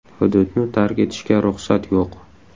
Hududni tark etishga ruxsat yo‘q.